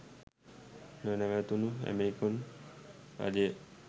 නොනැවතුණු American රජය